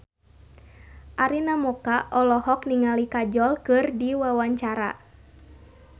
Arina Mocca olohok ningali Kajol keur diwawancara